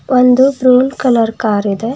ಒಂದು brown colour car ಇದೆ.